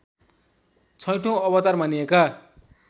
छैठौँ अवतार मानिएका